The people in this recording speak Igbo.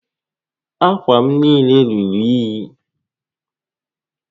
Ákwà m niile ruru únyí